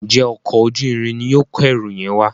njé Ọkọ̀ ojú-irin ní yóò kọ ẹrù yen wá?